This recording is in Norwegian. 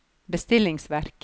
bestillingsverk